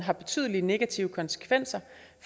så